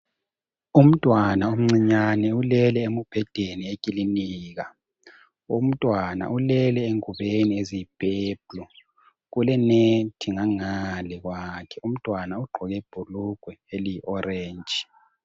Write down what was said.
Umntwana omncinyane ulele embhedeni eklilinika. Umntwana ulele engubeni eziyiphephuli kule nethi ngangale kwakhe. Umntwana ugqoke ibhulugwe eliyi oratshi.